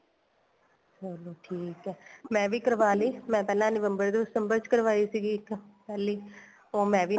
ਚਲੋ ਠੀਕ ਏ ਮੈਂ ਵੀ ਕਰਵਾ ਲੀ ਮੈਂ ਪਹਿਲਾਂ November December ਚ ਕਰਵਾਈ ਸੀਗੀ ਇੱਕ ਪਹਿਲੀ ਉਹ ਮੈਂ ਵੀ